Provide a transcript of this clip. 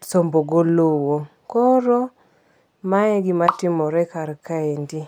sombo go low. Kor mae gima timore kar kaendi.